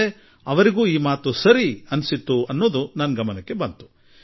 ನಾನು ಅವರಲ್ಲಿ ಈ ಮಾತುಗಳನ್ನು ಬಹಳ ಆಗ್ರಹಪೂರ್ವಕವಾಗಿ ಹೇಳಿದೆ